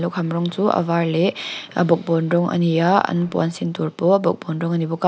lukham rawng chu a var leh a bawkbawn rawng a ni a an puan sin tur pawh bawkbawn rawng a ni bawk a.